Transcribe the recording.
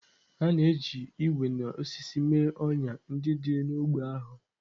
A na-eji ígwè na osisi mee ọnyà ndị dị n'ógbè ahụ.